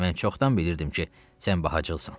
Mən çoxdan bilirdim ki, sən bacılsan.